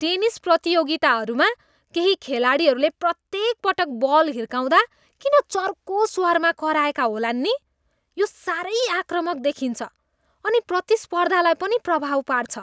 Tennis प्रतियोगिताहरूमा केही खेलाडीहरूले प्रत्येक पटक बल हिर्काउँदा किन चर्को स्वरमा कराएका होलान् नि? यो साह्रै आक्रामक देखिन्छ अनि प्रतिस्पर्धालाई पनि प्रभाव पार्छ।